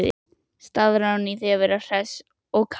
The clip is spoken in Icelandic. Staðráðin í að vera hress og kát.